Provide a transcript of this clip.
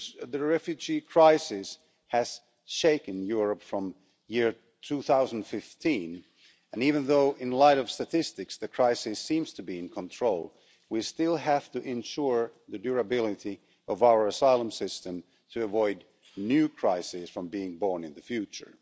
refugee crisis has shaken Europe from 2015 and even though, in the light of statistics, the crisis seems to be under control we still have to ensure the durability of our asylum system to avoid new crises from being born in the future.